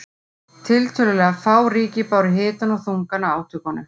Tiltölulega fá ríki báru hitann og þungann af átökunum.